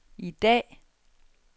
i dag